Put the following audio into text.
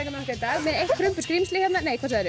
dag með eitt prumpuskrímsli hérna nei hvað sagðirðu